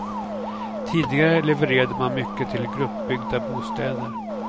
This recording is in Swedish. Tidigare levererade man mycket till gruppbyggda bostäder.